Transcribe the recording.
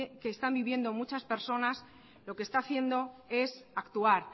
que están vivienda muchas personas lo que está haciendo es actuar